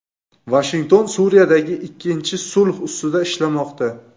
Vashington Suriyadagi ikkinchi sulh ustida ishlamoqda.